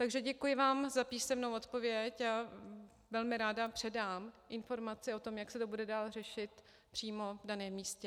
Takže děkuji vám za písemnou odpověď a velmi ráda předám informaci o tom, jak se to bude dál řešit přímo v daném místě.